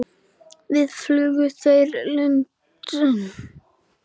Hvað flugu þeir langt?